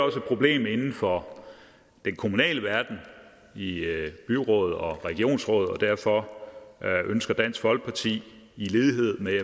et problem inden for den kommunale verden i byråd og regionsråd og derfor ønsker dansk folkeparti i lighed med